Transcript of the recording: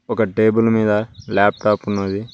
ఒక టేబుల్ మీద ల్యాప్టాప్ ఉన్నది.